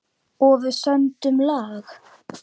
Og við sömdum lag.